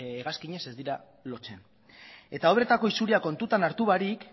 hegazkinez ez direla lotzen eta obretako isuriak kontutan hartu barik